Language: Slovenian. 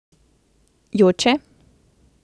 Joče?